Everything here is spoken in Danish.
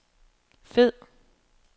fed